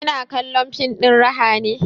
Kina kallon fim ɗin raha ne?